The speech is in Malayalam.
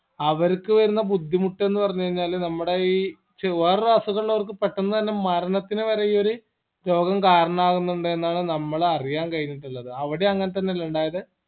അവരിക്ക് വരുന്ന ബുദ്ധിമുട്ടെന്ന് പറഞ്ഞഴിഞ്ഞാല് നമ്മുടെ ഈ ച് വേറൊരു അസുഖമുള്ളൊർക്ക് പെട്ടന്ന് തന്നെ ഈ മരണത്തിന് വരെ ഈ ഒര് രോഗം കരണാവിന്നിണ്ട് എന്നാണ് നമ്മളറിയാൻ കഴിഞ്ഞിട്ടുള്ളത് അവിടേം അങ്ങനെ തന്നെ അല്ലെ ഇണ്ടായത്